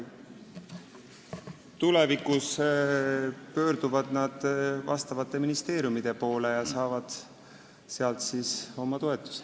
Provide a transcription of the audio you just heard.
Tulevikus pöörduvad nad vastavate ministeeriumide poole ja saavad sealt oma toetused.